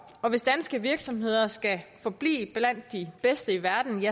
og hvis danske virksomheder skal forblive blandt de bedste i verden